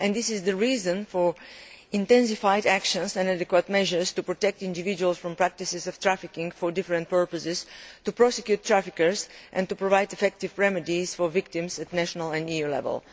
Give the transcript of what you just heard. This is the reason for intensified actions and adequate measures to protect individuals from the practice of trafficking for different purposes, to prosecute traffickers and to provide effective remedies for victims at national and EU level.